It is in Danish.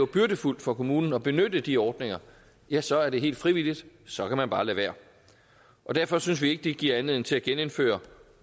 byrdefuldt for kommunen at benytte de ordninger ja så er det helt frivilligt så kan man bare lade være derfor synes vi ikke det giver anledning til at genindføre